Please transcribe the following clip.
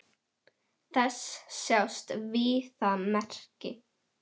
Þess sjást víða merki.